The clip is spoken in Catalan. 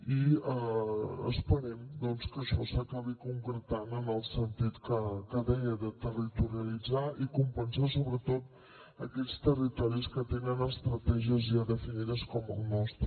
i esperem doncs que això s’acabi concretant en el sentit que deia de territorialitzar i compensar sobretot aquells territoris que tenen estratègies ja definides com el nostre